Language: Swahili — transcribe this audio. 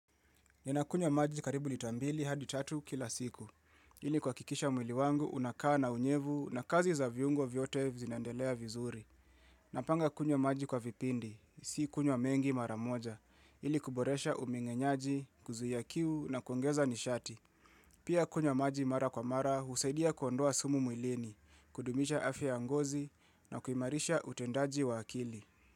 Ninakunywa maji karibu lita mbili hadi tatu kila siku. Ili kuakikisha mwili wangu unakaa na unyevu na kazi za viungo vyote zinandelea vizuri. Napanga kunywa maji kwa vipindi, si kunywa mengi maramoja. Ili kuboresha umengenyaji, kuzuia kiu na kuongeza nishati. Pia kunywa maji mara kwa mara husaidia kuondoa sumu mwilini, kudumisha afya ya ngozi na kuimarisha utendaji wa akili.